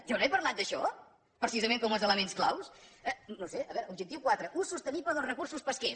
jo no he parlat d’això precisament com uns elements clau no ho sé a veure objectiu quatre ús sostenible dels recursos pesquers